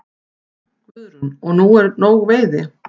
Guðrún: Og er nóg veiði?